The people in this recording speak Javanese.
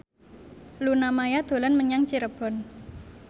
Luna Maya dolan menyang Cirebon